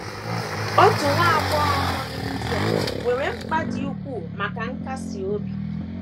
Otu nwa agbọghọ nọ n’India nwere mkpa dị ukwuu maka nkasi obi.